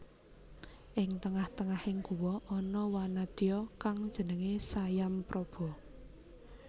Ing tengah tengahing guwa ana wanadya kang jenengé Sayampraba